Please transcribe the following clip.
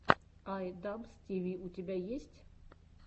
ай дабз ти ви у тебя есть